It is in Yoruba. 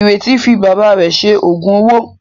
Ìrètí fi bàbá rẹ̀ ṣe òògùn owó.